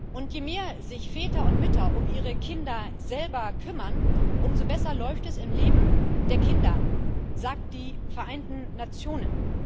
Und je mehr sich Väter und Mütter um ihre Kinder selber kümmern, umso besser läuft es im Leben der Kinder, sagen die Vereinten Nationen.